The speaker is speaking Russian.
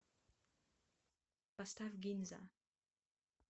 поставь гинза